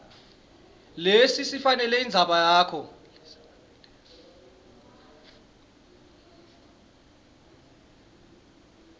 lesifanele indzaba yakho